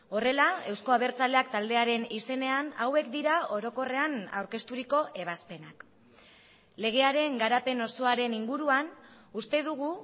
horrela euzko abertzaleak taldearen izenean hauek dira orokorrean aurkezturiko ebazpenak legearen garapen osoaren inguruan uste dugu